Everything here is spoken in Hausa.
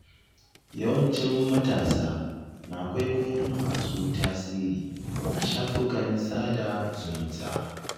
Yawancin matasa na kwaikwayon masu tasiri a shafukan sada zumunta.